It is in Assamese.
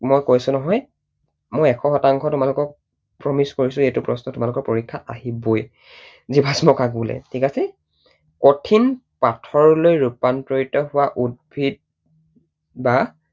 মই কৈছো নহয়, মই এশ শতাংশ তোমালোকক promise কৰিছো এইটো প্ৰশ্ন তোমালোকৰ পৰীক্ষাত আহিবই। জীৱাশ্ম কাক বোলে। ঠিক আছে? কঠিন পাথৰলৈ ৰূপান্তৰিত হোৱা উদ্ভিদ বা